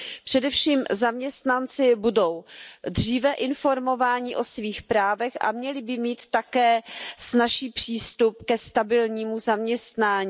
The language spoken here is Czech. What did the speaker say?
Především zaměstnanci budou dříve informováni o svých právech a měli by mít také snazší přístup ke stabilnímu zaměstnání.